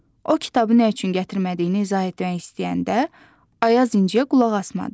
O kitabı nə üçün gətirmədiyini izah etmək istəyəndə, Ayaz İnciyə qulaq asmadı.